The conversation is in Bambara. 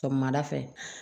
Sɔgɔmada fɛ